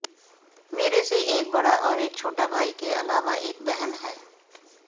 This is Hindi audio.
मेरे से एक बड़ा और एक छोटा भाई के अलावा एक बहन है